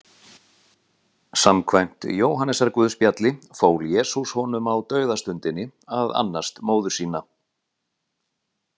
Samkvæmt Jóhannesarguðspjalli fól Jesús honum á dauðastundinni að annast móður sína.